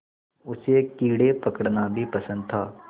उसे कीड़े पकड़ना भी पसंद था